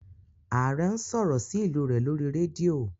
Aare n sọrọ sí ilú rẹ lórí rédíò